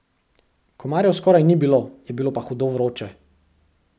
Komarjev skoraj ni bilo, je pa bilo hudo vroče.